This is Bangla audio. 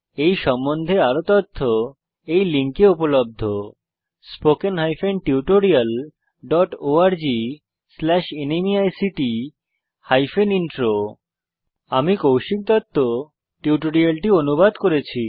এই সম্বন্ধে আরও তথ্য এই লিঙ্কে উপলব্ধ spoken hyphen tutorial dot org slash NMEICT hyphen intro আমি কৌশিক দত্ত টিউটোরিয়ালটি অনুবাদ করেছি